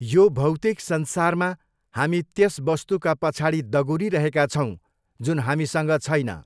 यो भौतिक संसारमा हामी त्यस वस्तुका पछाडि दगुरिरहेका छौँ जुन हामीसँग छैन।